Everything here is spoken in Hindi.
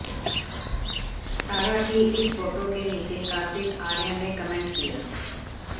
सारा की इस फोटो के नीचे कार्तिक आर्यन ने कमेंट किया